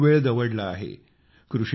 आपण खूप वेळ दवडला आहे